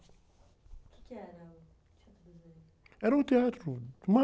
O quê que era o Teatro dos Negros?ra um teatro...